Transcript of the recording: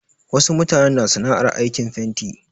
Wasu mutanen na sana'ar aikin fanti.